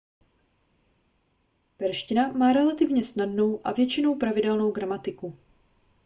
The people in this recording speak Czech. perština má relativně snadnou a většinou pravidelnou gramatiku